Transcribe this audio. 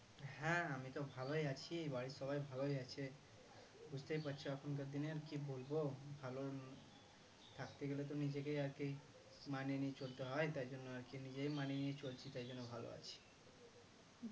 বুঝতেই পারছ এখনকার দিনের কি বলবো ভালো থাকতে গেলে তো নিজেকে আর কি মানিয়ে নিয়ে চলতে হয় তার জন্য আরকি নিজেই মানিয়ে চলছি তাই জন্য ভালো আছি